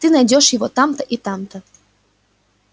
ты найдёшь его там-то и там-то